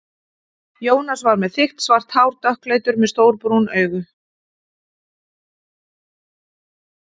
Jónas var með þykkt svart hár, dökkleitur, með stór brún augu.